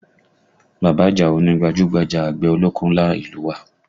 Bàbá Àjàó ni gbajúgbajà àgbẹ̀ ọlọ́kọ́ ńlá ìlú u wa